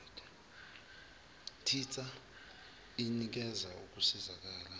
tissa inikeza ukusizakala